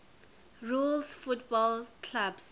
rules football clubs